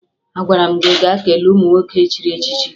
Agwara m gị gaa kelee ụmụ nwoke echiri echichi!